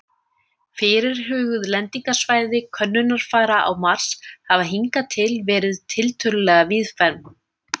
Fyrirhuguð lendingarsvæði könnunarfara á Mars hafa hingað til verið tiltölulega víðfeðm.